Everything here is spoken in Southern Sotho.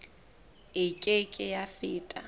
e ke ke ya feta